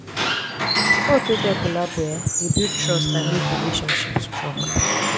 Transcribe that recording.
sport wey get collabo um dey build trust and make relationship strong